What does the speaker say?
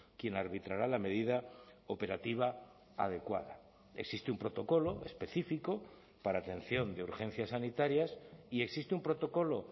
quien arbitrará la medida operativa adecuada existe un protocolo específico para atención de urgencias sanitarias y existe un protocolo